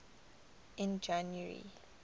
in january